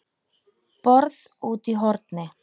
BORÐ ÚTI Í HORNI